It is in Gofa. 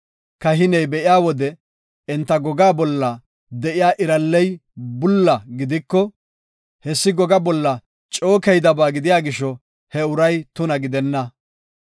kahiney be7iya wode enta gogaa bolla de7iya iralley bulla gidiko, hessi gogaa bolla coo keydaba gidiya gisho he uray tuna gidenna.